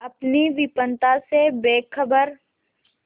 अपनी विपन्नता से बेखबर